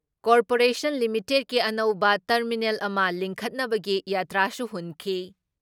Corporation ꯂꯤꯃꯤꯇꯦꯠꯀꯤ ꯑꯅꯧꯕ terminal ꯑꯃ ꯂꯤꯡꯈꯠꯅꯕꯒꯤ ꯌꯥꯇ꯭ꯔꯥꯁꯨ ꯍꯨꯟꯈꯤ ꯫